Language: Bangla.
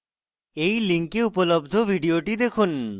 এই link উপলব্ধ video দেখুন